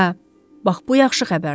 Hə, bax bu yaxşı xəbərdir.